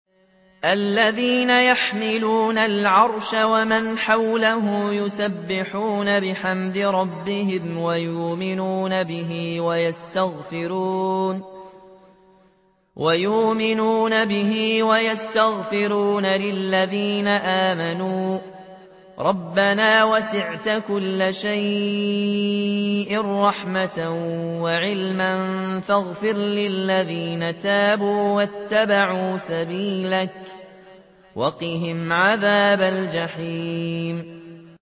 الَّذِينَ يَحْمِلُونَ الْعَرْشَ وَمَنْ حَوْلَهُ يُسَبِّحُونَ بِحَمْدِ رَبِّهِمْ وَيُؤْمِنُونَ بِهِ وَيَسْتَغْفِرُونَ لِلَّذِينَ آمَنُوا رَبَّنَا وَسِعْتَ كُلَّ شَيْءٍ رَّحْمَةً وَعِلْمًا فَاغْفِرْ لِلَّذِينَ تَابُوا وَاتَّبَعُوا سَبِيلَكَ وَقِهِمْ عَذَابَ الْجَحِيمِ